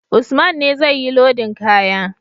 Usman ne zai yi lodin kaya